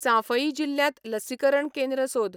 चांफई जिल्ल्यांत लसीकरण केंद्र सोद